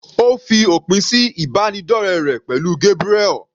Ó fi òpin sí ìbánidọ́rẹ rẹ̀ pẹ̀lú Gabriel.